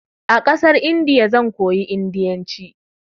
A ƙasar Indiya zan koyi indiyanci.